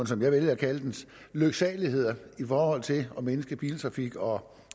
som jeg vælger at kalde den lyksaligheder i forhold til at mindske biltrafikken og om